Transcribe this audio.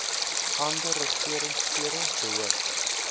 ander regeringsfere behoort